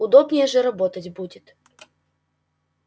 удобнее же работать будет